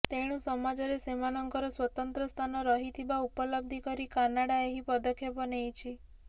ତେଣୁ ସମାଜରେ ସେମାନଙ୍କର ସ୍ବତନ୍ତ୍ର ସ୍ଥାନ ରହିଥିବା ଉପଲବ୍ଧି କରି କାନାଡ଼ା ଏହି ପଦକ୍ଷେପ ନେଇଛି